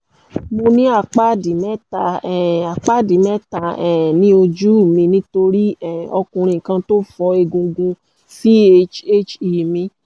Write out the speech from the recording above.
mo ní àpáàdì mẹ́ta um àpáàdì mẹ́ta um ní ojú mi nítorí um ọkùnrin kan tó fọ́ egungun chhe mi